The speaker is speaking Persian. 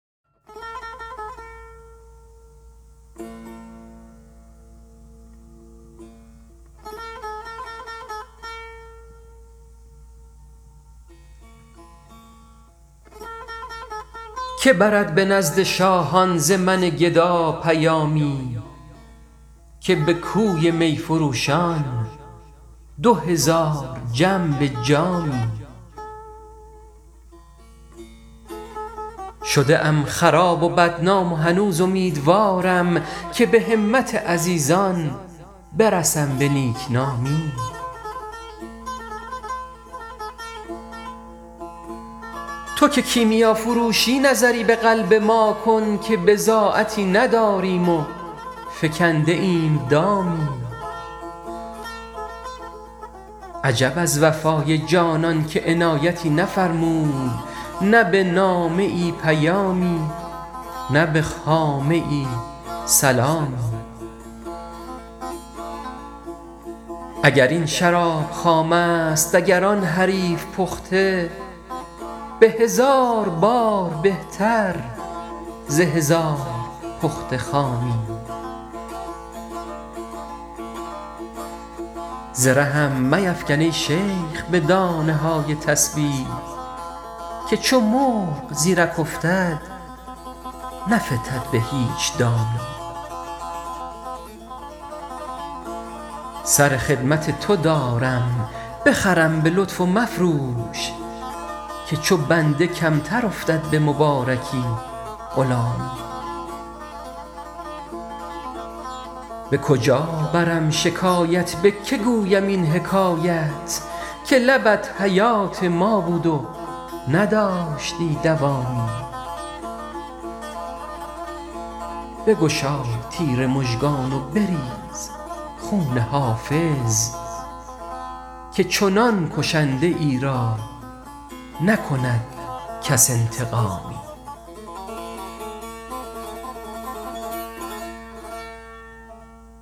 که برد به نزد شاهان ز من گدا پیامی که به کوی می فروشان دو هزار جم به جامی شده ام خراب و بدنام و هنوز امیدوارم که به همت عزیزان برسم به نیک نامی تو که کیمیافروشی نظری به قلب ما کن که بضاعتی نداریم و فکنده ایم دامی عجب از وفای جانان که عنایتی نفرمود نه به نامه ای پیامی نه به خامه ای سلامی اگر این شراب خام است اگر آن حریف پخته به هزار بار بهتر ز هزار پخته خامی ز رهم میفکن ای شیخ به دانه های تسبیح که چو مرغ زیرک افتد نفتد به هیچ دامی سر خدمت تو دارم بخرم به لطف و مفروش که چو بنده کمتر افتد به مبارکی غلامی به کجا برم شکایت به که گویم این حکایت که لبت حیات ما بود و نداشتی دوامی بگشای تیر مژگان و بریز خون حافظ که چنان کشنده ای را نکند کس انتقامی